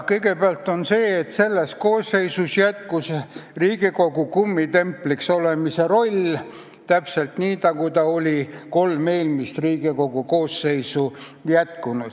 Kõigepealt seda, et selles koosseisus jätkus Riigikogu kummitempliks olemise roll, täpselt nii, nagu ta oli olnud kolm eelmist Riigikogu koosseisu.